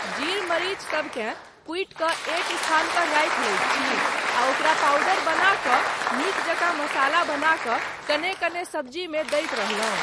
जीर मरीच सबकेँ कुटि कऽ एक स्थान पर राखि लैत छी आ ओकरा पाउडर बना कऽ नीक जकाँ मसाला बना कऽ कने कने सब्जीमे दैत रहलहुँ।